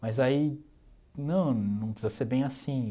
Mas aí, não, não precisa ser bem assim.